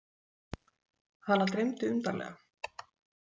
Hana dreymdi undarlega.